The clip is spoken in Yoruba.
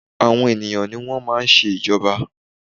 Àwọn ènìyàn ní wọ́n máa ń ṣe ìjọba.